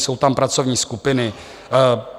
Jsou tam pracovní skupiny.